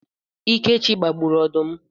Ikechi gbagburu odum